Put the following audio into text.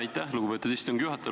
Aitäh, lugupeetud istungi juhataja!